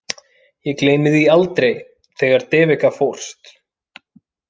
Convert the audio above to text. Ég gleymi því aldrei, þegar Devika fórst.